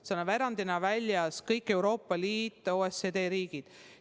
Sealt on erandina väljas kõik Euroopa Liidu ja OECD riigid.